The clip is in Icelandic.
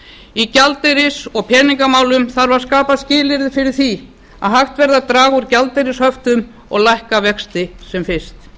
í gjaldeyris og peningamálum þarf að skapa skilyrði fyrir því að hægt verði að draga úr gjaldeyrishöftum og lækka vexti sem fyrst